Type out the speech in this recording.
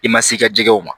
I ma se i ka jɛgɛw ma